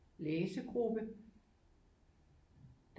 Læsegruppe